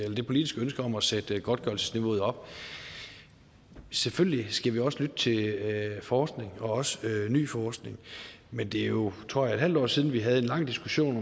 ønske om at sætte godtgørelsesniveauet op selvfølgelig skal vi også lytte til forskning og også ny forskning men det er jo tror jeg et halvt år siden vi havde en lang diskussion